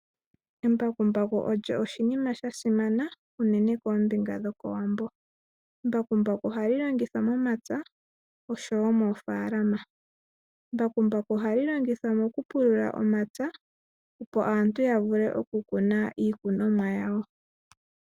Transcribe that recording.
Embakumbaku olyo oshinima sha simana unene koombinga dhoko Wambo. Embakumbaku ohali longithwa momapya oshowo moofalama. Embakumbaku ohali longithwa mokupulula omapya, opo aantu ya vule okukuna mo iikunomwa yawo.